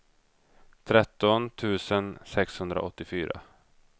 tretton tusen sexhundraåttiofyra